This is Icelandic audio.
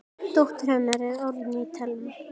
Dóttir hennar er Árný Thelma.